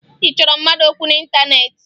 Ị chọrọ mmadụ okwu n'ịntaneetị?